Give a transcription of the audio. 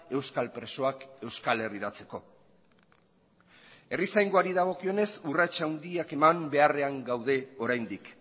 euskal presoak euskal herriratzeko herrizaingoari dagokionez urrats handiak eman beharrean gaude oraindik